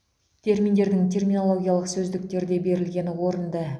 терминдердің терминологиялық сөздіктерде берілгені орынды